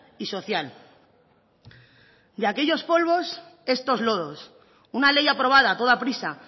y social de aquellos polvos estos lodos una ley aprobada a toda prisa